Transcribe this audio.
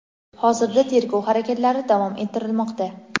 hozirda tergov harakatlari davom ettirilmoqda.